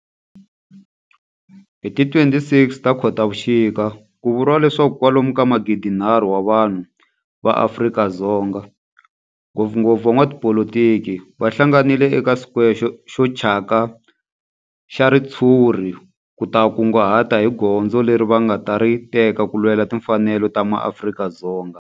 Hi ti 26 Khotavuxika ku vuriwa leswaku kwalomu ka magidinharhu wa vanhu va Afrika-Dzonga, ngopfungopfu van'watipolitiki va hlanganile eka square xo thyaka xa ritshuri ku ta kunguhata hi goza leri va nga ta ri teka ku lwela timfanelo ta maAfrika-Dzonga.